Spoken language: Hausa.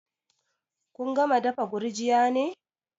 Kun gama dafa gurjiya ne?